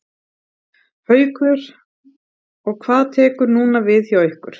Haukur: Og hvað tekur núna við hjá ykkur?